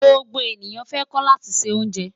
Gbogbo eniyan fẹ ko lati bi se onje